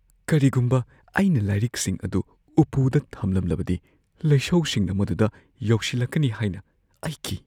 ꯀꯔꯤꯒꯨꯝꯕ ꯑꯩꯅ ꯂꯥꯏꯔꯤꯛꯁꯤꯡ ꯑꯗꯨ ꯎꯞꯄꯨꯗ ꯊꯝꯂꯝꯂꯕꯗꯤ, ꯂꯩꯁꯧꯁꯤꯡꯅ ꯃꯗꯨꯗ ꯌꯧꯁꯤꯜꯂꯛꯀꯅꯤ ꯍꯥꯏꯅ ꯑꯩ ꯀꯤ꯫